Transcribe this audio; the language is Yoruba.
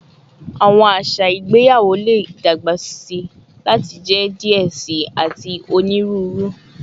Awọn aṣa igbeyawo le dagbasi lati jẹ diẹ sii ati oniruuru